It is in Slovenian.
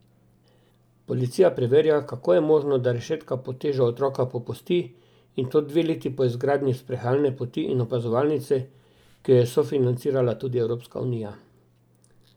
Policija preverja, kako je možno, da rešetka pod težo otroka popusti in to dve leti po izgradnji sprehajalne poti in opazovalnice, ki jo je sofinancirala tudi Evropska unija.